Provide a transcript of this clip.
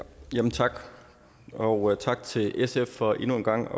tak og tak til sf for endnu en gang at